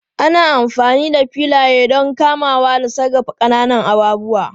Ana amfani da filaye don kamawa da sarrafa ƙananan abubuwa